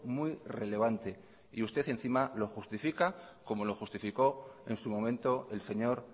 muy relevante y usted encima lo justifica como lo justificó en su momento el señor